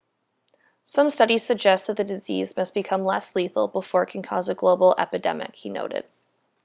some studies suggest that the disease must become less lethal before it can cause a global epidemic he noted